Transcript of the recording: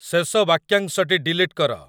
ଶେଷ ବାକ୍ୟାଂଶଟି ଡିଲିଟ୍ କର